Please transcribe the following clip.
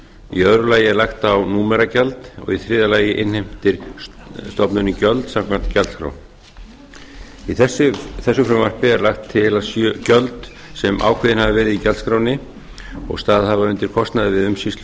í öðru lagi er lagt á númeragjald og í þriðja lagi innheimtir stofnunin gjöld samkvæmt gjaldskrá í þessu frumvarpi er lagt til að gjöld sem ákveðin hafa verið í gjaldskránni og staðið hafa undir kostnaði við umsýslu